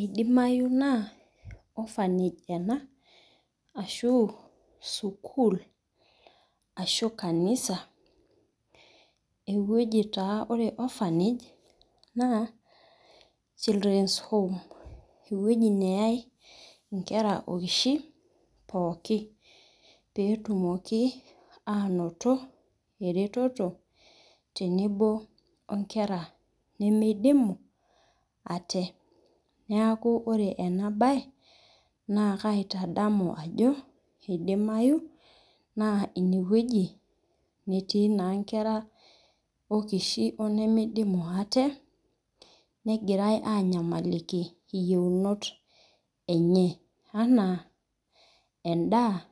eidimayu naa ophanage ena ashu sukul, ashu kanisa, eweuji taa, ore ophanage na children home, eweuji neyae ingira okishin pooki, petumoki natoto eretoto, tenebo onkera nemeidimu ate, niaku ore ena bae na kaitadamu ajo, eidimayu na ine weuji netii naa enkera okishin, onemeidimu aje, nengirae anyamaliki iyieunot enye, ana endaa